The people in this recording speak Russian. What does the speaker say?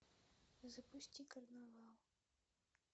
запусти карнавал